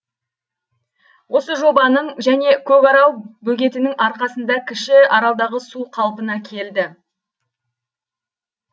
осы жобаның және көкарал бөгетінің арқасында кіші аралдағы су қалпына келді